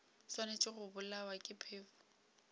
swanetše go bolawa ke phefo